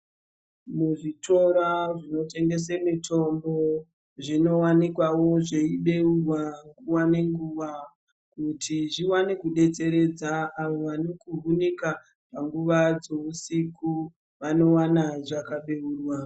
Muzvitora zvinotengese mitombo zvinowanikwawo zveibeurwa nguwa ngenguwa kuitira kuti zviwane kudetseredza avo vanokuhunika panguva dzeusiku, vanowana zvakabeurwa.